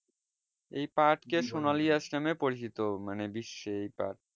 এই পাট কে সোনালী আঁশ নামে পরিচিত মানে বিশ্বে এই পাট